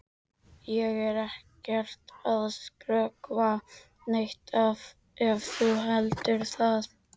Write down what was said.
Ég er ekkert að skrökva neitt ef þú heldur það.